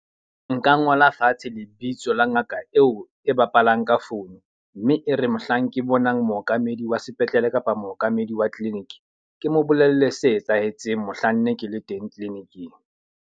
Nka ngola fatshe lebitso la ngaka eo e bapalang ka phone. Mme e re mohlang ke bonang mookamedi wa sepetlele kapa mookamedi wa clinic, ke mo bolelle se etsahetseng mohlanne ke le teng clinic-ing.